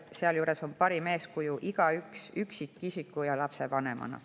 Sealjuures on parim eeskuju igaüks üksikisiku ja lapsevanemana.